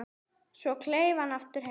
Svo kleif hann aftur heim.